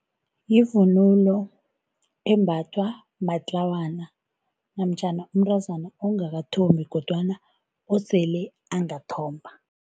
Yivunulo embathwa matlawana namtjhana umntazana ongakathombi kodwana osele angathomba.